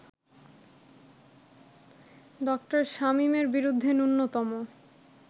ডা. শামীমের বিরুদ্ধে ন্যূনতম